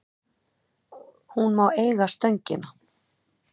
Hún má eiga Stöngina.